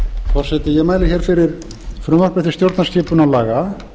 forseti ég mæli hér fyrir frumvarpi til stjórnarskipunarlaga